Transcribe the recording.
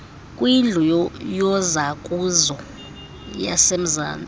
kwindlu yozakuzo yasemzantsi